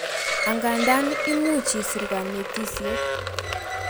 angandan imuch isir kanetisiet